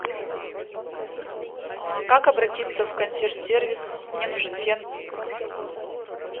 как обратиться в консьерж сервис мне нужен фен